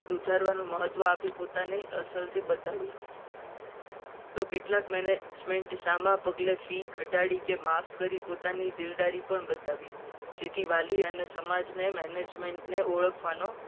વધારવાનું મહત્વ આપ્યું. પોતાની અસરથી બધાને તો કેટલાક management ને સામે પગલા fee ઘટાડી કે માફ કરી પોતાની દિલદારી પણ બતાવી. જેથી વાલી અને સમાજને management ને ઓળખવાનો